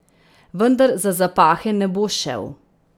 Vendar za zapahe ne bo šel.